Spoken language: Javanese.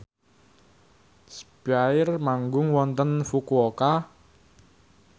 spyair manggung wonten Fukuoka